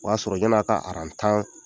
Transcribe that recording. O y'a sɔrɔ yani a ka tan